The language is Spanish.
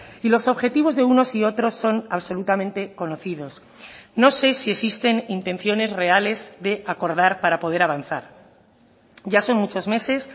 y los objetivos de unos y otros son absolutamente conocidos no sé si existen intenciones reales de acordar para poder avanzar ya son muchos meses